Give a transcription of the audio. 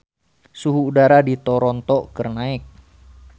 Suhu udara di Toronto keur naek